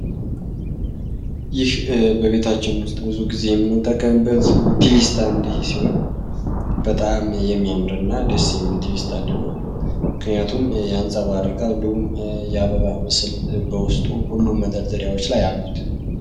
በቤታችን ውስጥ ብዙ ጊዜ በጣም የሚያምርና ደስ የሚል ስታንድ ነው ምክንያቱም የአበባ ምስል በውስጡ ሁሉ መደርያዎች ላይ ያሉት